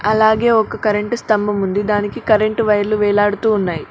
అలాగే ఒక కరెంటు స్తంభం ఉంది దానికి కరెంటు వైర్లు వేలాడుతున్నాయి.